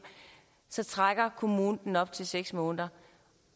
så trækker kommunen op til seks måneder